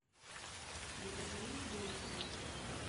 екатерине глуховой